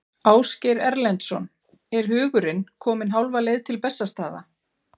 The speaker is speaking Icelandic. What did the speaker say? Ásgeir Erlendsson: Er hugurinn kominn hálfa leið til Bessastaða?